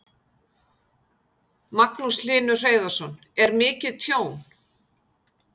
Magnús Hlynur Hreiðarsson: Er mikið tjón?